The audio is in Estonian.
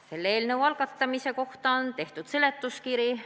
Selle eelnõu kohta on tehtud seletuskiri.